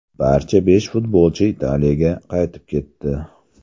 Barcha besh futbolchi Italiyaga qaytib ketdi.